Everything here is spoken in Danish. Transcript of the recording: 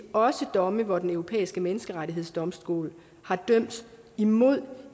også sige domme hvor den europæiske menneskerettighedsdomstol har dømt imod